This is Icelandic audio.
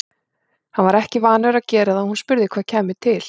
Hann var ekki vanur að gera það og hún spurði hvað kæmi til.